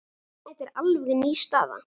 Þetta er alveg ný staða.